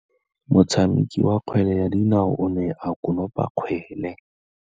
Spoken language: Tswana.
Motshameki wa kgwele ya dinaô o ne a konopa kgwele.